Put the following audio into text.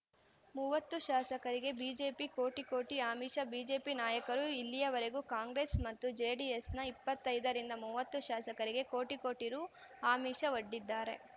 ಮೂವತ್ತು ಶಾಸಕರಿಗೆ ಬಿಜೆಪಿ ಕೋಟಿ ಕೋಟಿ ಆಮಿಷ ಬಿಜೆಪಿ ನಾಯಕರು ಇಲ್ಲಿಯವರೆಗೆ ಕಾಂಗ್ರೆಸ್‌ ಮತ್ತು ಜೆಡಿಎಸ್‌ನ ಇಪ್ಪತ್ತೈದರಿಂದ ಮೂವತ್ತು ಶಾಸಕರಿಗೆ ಕೋಟಿ ಕೋಟಿ ರು ಆಮಿಷವೊಡ್ಡಿದ್ದಾರೆ